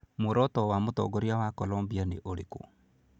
Muoroto wa mũtongoria wa Colombia nĩ ũrĩkũ?